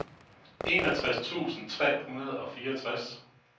enogtres tusind tre hundrede og fireogtres